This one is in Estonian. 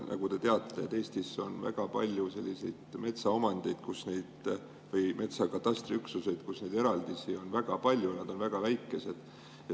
Nagu te teate, Eestis on väga palju selliseid metsaomandeid või metsakatastriüksuseid, kus neid eraldisi on väga palju ja nad on väga väikesed.